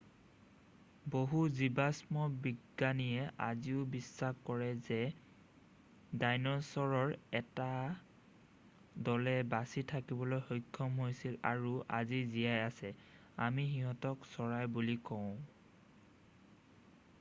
বহু জিবাষ্ম বিজ্ঞানীয়ে আজিও বিশ্বাস কৰে যে ডাইনছৰৰ 1 টা দলে বাচি থাকিবলৈ সক্ষম হৈছিল আৰু আজি জীয়াই আছে আমি সিহঁতক চৰাই বুলি কওঁ